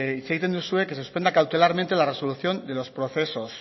hitz egiten duzue que se suspenda cautelarmente la resolución de los procesos